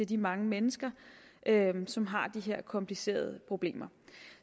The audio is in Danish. de mange mennesker som har de her komplicerede problemer